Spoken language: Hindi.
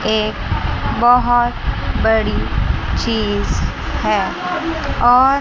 एक बहुत बड़ी चीज है और--